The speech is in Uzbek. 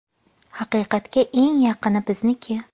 Haqiqatga eng yaqini bizniki.